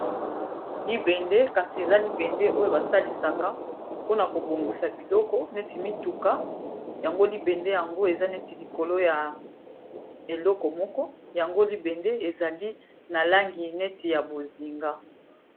Libende kasi eza libende oyo basalisaka mpona kobongisa biloko neti mituka yango libende yango eza neti likolo ya eloko moko yango libende ezali na langi neti ya bozinga.